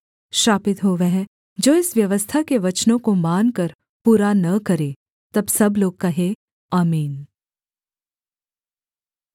श्रापित हो वह जो इस व्यवस्था के वचनों को मानकर पूरा न करे तब सब लोग कहें आमीन